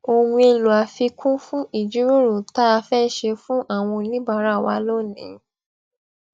ohun èlò àfikún fún ìjíròrò tá a fé ṣe fún àwọn oníbàárà wa lónìí